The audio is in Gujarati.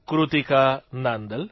કૃતિકા નાંદલ